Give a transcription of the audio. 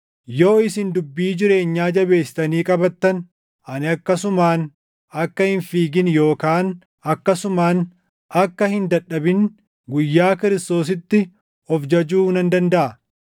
yoo isin dubbii jireenyaa jabeessitanii qabattan ani akkasumaan akka hin fiigin yookaan akkasumaan akka hin dadhabin guyyaa Kiristoositti of jajuu nan dandaʼa.